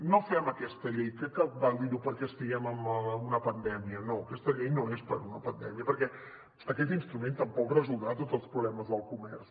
no fem aquesta llei crec que cal dir ho perquè estiguem en una pandèmia no aquesta llei no és per una pandèmia perquè aquest instrument tampoc resoldrà tots els problemes del comerç